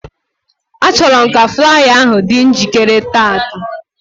Achọrọ m ka flaya ahụ dị njikere tata